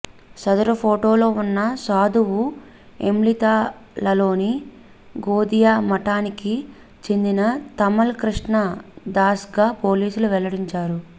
సదరు ఫోటోలో ఉన్న సాధువు ఇమ్లితాలలోని గౌధియా మఠానికి చెందిన తమల్ కృష్ణ దాస్గా పోలీసులు వెల్లడించారు